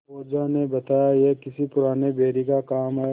ओझा ने बताया यह किसी पुराने बैरी का काम है